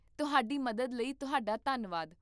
ਤੁਹਾਡੀ ਮਦਦ ਲਈ ਤੁਹਾਡਾ ਧੰਨਵਾਦ